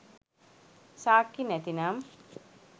සාක්කි නැතිනම්